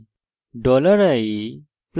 enter টিপুন